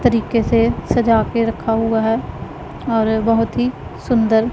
तरीके से सजा के रखा हुआ है और बहुत ही सुंदर--